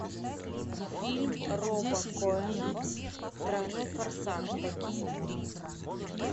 фильм роба коэна тройной форсаж токийский дрифт